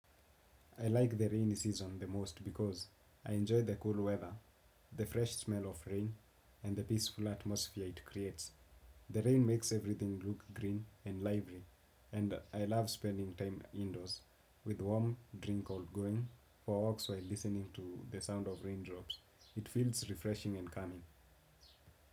I like the rainy season the most because I enjoy the cool weather, the fresh smell of rain and the peaceful atmosphere it creates. The rain makes everything look green and lively and I love spending time indoors with warm drink all going for walks while listening to the sound of it feels refreshing and calming.